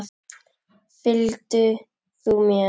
Fylg þú mér.